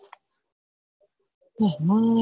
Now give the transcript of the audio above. હાય હાય